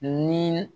Ni